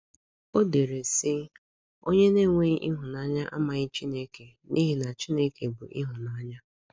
O dere, sị: “ Onye na - enweghị ịhụnanya amaghị Chineke, n’ihi na Chineke bụ ịhụnanya. ”